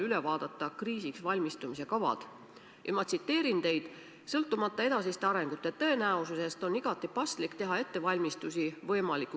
Regionaalsetes kriisikomisjonides on käidud läbi erinevad olukorrad, mitte ainult tormiolukord, vaid ka võimalik nakkuspuhang.